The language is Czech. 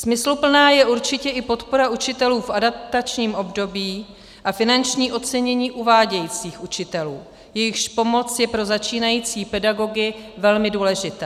Smysluplná je určitě i podpora učitelů v adaptačním období a finanční ocenění uvádějících učitelů, jejichž pomoc je pro začínající pedagogy velmi důležitá.